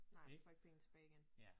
Nej man får ikke penge tilbage igen